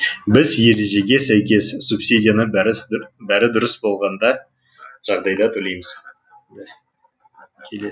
біз ережеге сәйкес субсидияны бәрі дұрыс болғанда жағдайда төлейміз